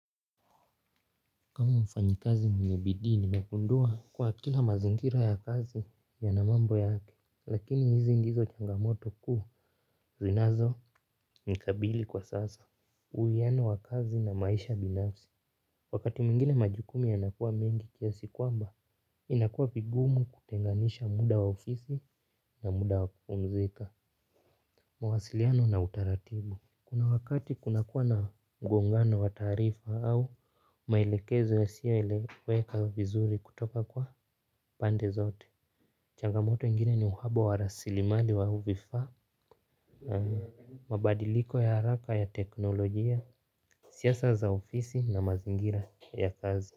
Kama mfanyakazi mwenye bidii nimegundua kuwa kila mazingira ya kazi yanamambo yake. Lakini hizi ndizo changamoto kuu zinazonikabili kwa sasa. Uwiano wa kazi na maisha binafsi. Wakati mwingine majukumu yanakuwa mengi kiasi kwamba inakuwa vigumu kutenganisha muda wa ofisi na muda wa kupumzika. Mawasiliano na utaratibu. Kuna wakati kunakuwa na mgongano wa taarifa au maelekezo yasiyo eleweka vizuri kutoka kwa pande zote. Changamoto ingine ni uhaba wa rasilimali wa au vifaa. Mabadiliko ya haraka ya teknolojia. Siasa za ofisi na mazingira ya kazi.